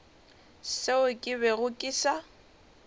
seo ke bego ke sa